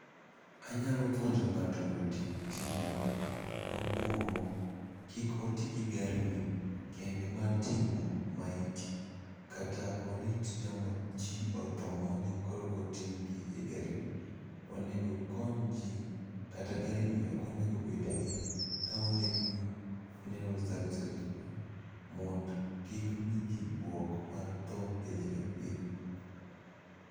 Anyalo puonjo ng'ato mondo tim tijni. mokwongo kik otigi gari ni kende mar ting'o maiti. Kata orit jomo ji otho mondi koreko ting' gi e gari ni. Onego kony ji kata gari ni ok onego bedgi kamondikni funeral services no mond kik miji bwok mar tho pile ka pile.